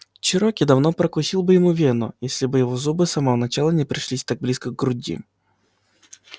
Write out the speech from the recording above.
чероки давно прокусил бы ему вену если бы его зубы с самого начала не пришлись так близко к груди